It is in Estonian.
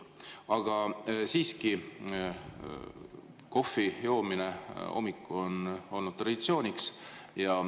Aga siiski, kohvi joomine hommikul on olnud traditsiooniks.